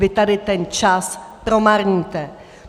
Vy tady ten čas promarníte.